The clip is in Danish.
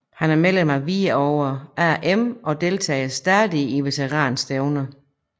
Han er medlem af Hvidovre AM og deltager stadig i veteran stævner